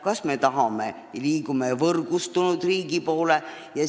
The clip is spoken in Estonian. Kas me tahame liikuda võrgustunud riigi poole?